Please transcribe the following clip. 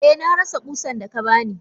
Eh narasa kusan daka bani.